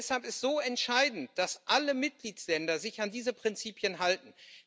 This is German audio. Und deshalb ist es so entscheidend, dass alle Mitgliedstaaten sich an diese Prinzipien halten.